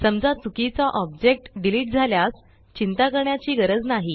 समजा चुकीचा object delete झाल्यास चिंता करण्याची गरज नाही